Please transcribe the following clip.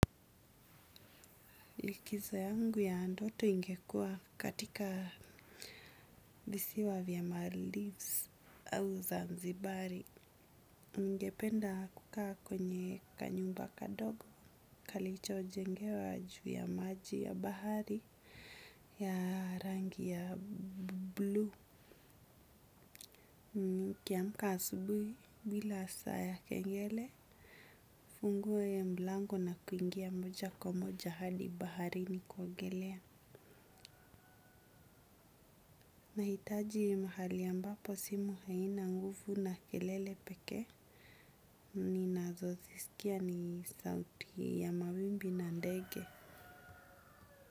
Likizo yangu ya ndoto ingekua katika visiwa vya maldilves au zanzibari. Ningependa kukaa kwenye kanyumba kadogo. Kalicho jengewa juu ya maji ya bahari ya rangi ya blue. Mimi nikiamka asubuhi bila saa ya kengele. Ufunguwe mlango na kuingia moja kwa moja hadi bahari ni kuogelea. Nahitaji mahali ambapo sehemu haina nguvu na kelele pekee ninazo zisikia ni sauti ya mawimbi na ndege.